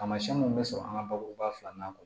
Taamasiyɛn mun bɛ sɔrɔ an ka bakuruba fila na kɔ